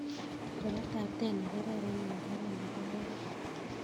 Karo taptet ne kararan eng' tapan nebo oret